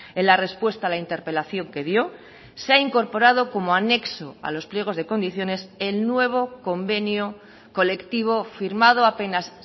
en la respuesta a la interpelación que dio se ha incorporado como anexo a los pliegos de condiciones el nuevo convenio colectivo firmado apenas